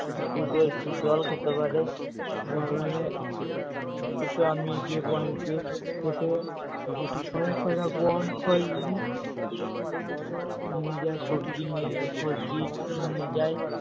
দুটো একটু জল খেতে পারে বাগানে দুটো আমি যে বাড়িতে থেকে অনেক কটা গম ছড়িয়ে দিই নিয়ে যায় সবজি নিয়ে সবজি নিয়ে যায়